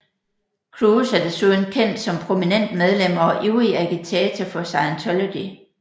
Cruise er desuden kendt som prominent medlem og ivrig agitator for Scientology